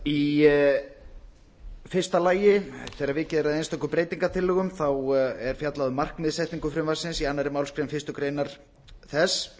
í fyrsta lagi þegar vikið er að einstökum breytingartillögum er fjallað um markmiðssetningu frumvarpsins í annarri málsgrein fyrstu greinar þess